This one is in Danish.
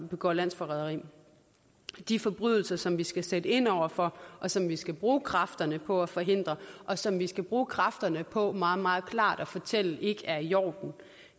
begår landsforræderi de forbrydelser som vi skal sætte ind over for og som vi skal bruge kræfterne på at forhindre og som vi skal bruge kræfterne på meget meget klart at fortælle ikke er i orden